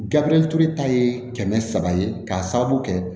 Gabiriyɛri ture ta ye kɛmɛ saba ye k'a sababu kɛ